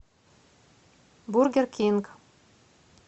бургер кинг